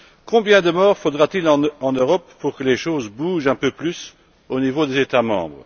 Combien de morts faudra t il en Europe pour que les choses bougent un peu plus au niveau des États membres?